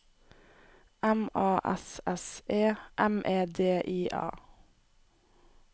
M A S S E M E D I A